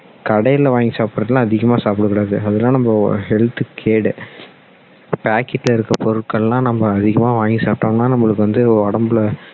கடைல வாங்கி சாப்பிடுறது எல்லாம் அதிகமா சாப்பிட கூடாது அதெல்லாம் நம்ம health க்கு கேடு packet ல இருக்குற பொருட்கள் எல்லாம் நம்ம அதிகமா வாங்கி சாப்பிட்டோம்னா நம்மளுக்கு வந்து உடம்புல